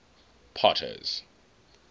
potter's